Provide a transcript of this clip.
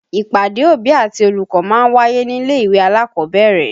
Ìpàdé òbí àti olùkọ́ ma ń wáyé nílé-ìwé alákọ̀ọ́bẹ̀rẹ̀